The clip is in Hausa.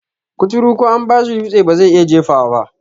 Kuturu ko an bashi dutse bazai iya jefawa ba